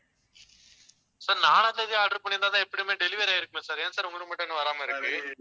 sir நாலாம் தேதி order பண்ணியிருந்தாதான் எப்படியுமே delivery ஆகியிருக்குமே sir ஏன் sir உங்களுக்கு மட்டும் இன்னும் வராம இருக்கு